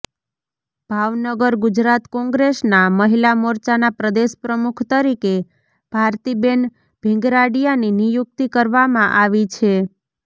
ભાવનગરઃ ગુજરાત કોંગ્રેસના મહિલા મોરચાના પ્રદેશ પ્રમુખ તરીકે ભારતીબેન ભીંગરાડીયાની નિયુક્તિ કરવામાં આવી છે